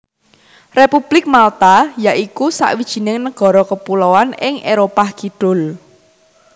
Republik Malta ya iku sawijining nagara kepuloan ing Éropah Kidul